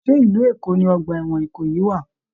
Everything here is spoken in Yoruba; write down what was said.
Ṣe ìlú Èkó ní ọgbà ẹwọn Ìkòyí wà?